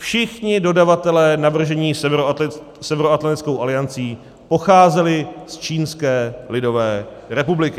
Všichni dodavatelé navržení Severoatlantickou aliancí pocházeli z Čínské lidové republiky.